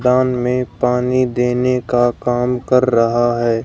दान में पानी देने का काम कर रहा है।